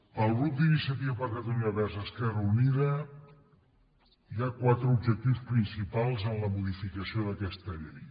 pel grup d’iniciativa per catalunya verds esquerra unida hi ha quatre objectius principals en la modificació d’aquesta llei